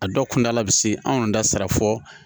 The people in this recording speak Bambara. A dɔw kuntala bi se anw da sera fɔ